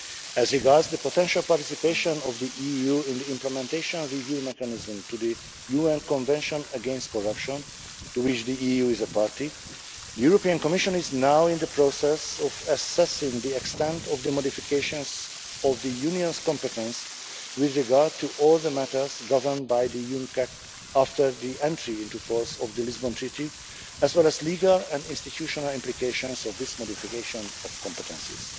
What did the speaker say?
As regards the potential participation of the EU in the Implementation Review Mechanism to the UN Convention against Corruption to which the EU is a party, the Commission is now in the process of assessing the extent of the modifications of the Union's competence with regard to all the matters governed by the UNCAC after the entry into force of the Lisbon Treaty, as well as the legal and institutional implications of this modification of competences.